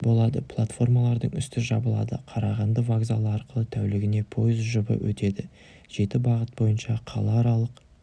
болады платформалардың үсті жабылады қарағанды вокзалы арқылы тәулігіне пойыз жұбы өтеді жеті бағыт бойынша қалааралық